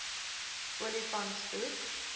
olifantshoek